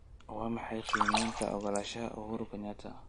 Waa maxay qiimeynta oggolaanshaha uhuru kenyatta?